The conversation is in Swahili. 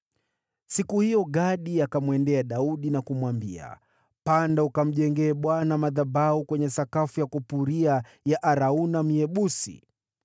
Siku hiyo Gadi akamwendea Daudi na kumwambia, “Panda ukamjengee Bwana madhabahu kwenye sakafu ya kupuria ya Arauna Myebusi.”